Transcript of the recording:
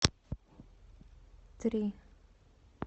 три